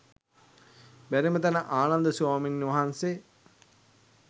බැරිම තැන ආනන්ද ස්වාමීන් වහන්සේ